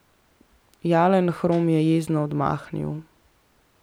Jalenhorm je jezno odmahnil.